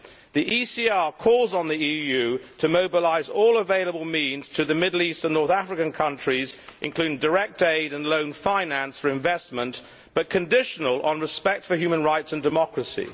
The ECR calls on the EU to mobilise all available means to the Middle East and North African countries, including direct aid and loan finance for investment, but conditional on respect for human rights and democracy.